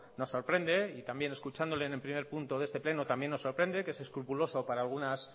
nos sorprende y también escuchándole en el primer punto de este pleno también nos sorprende que es escrupuloso para algunas